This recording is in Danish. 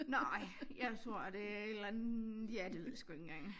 Nej jeg tror det er et eller andet ja det ved jeg sgu ikke engang